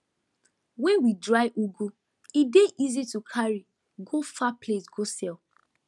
when we dry ugu e dey easy to carry go far place go sell